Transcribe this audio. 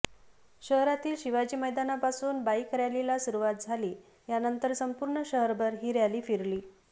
शहारातील शिवाजी मैदानापासून बाईक रॅलीला सुरुवात झाली यानंतर संपूर्ण शहरभर ही रॅली फिरली